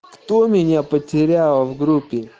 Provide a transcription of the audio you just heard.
кто меня потерял в группе